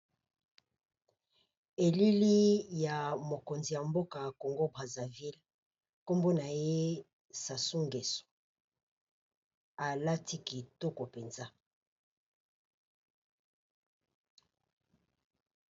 Elili ya mokonzi ya mboka Congo Brazzaville, nkombo naye Sassou Ngeso alati kitoko mpenza.